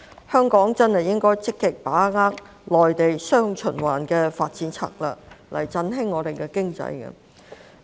香港真的應該積極把握內地"雙循環"的發展策略，以振興我們的經濟。